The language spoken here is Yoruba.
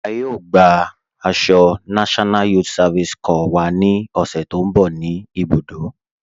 A yóò gbà àṣọ NYSC wà ní òṣè tó nbọ̀ ní ibùdó.